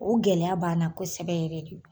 O gɛlɛya b'an na kosɛbɛ yɛrɛ de.